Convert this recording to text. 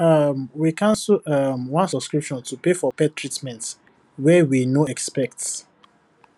um we cancel um one subscription to pay for pet treatment wey we no expect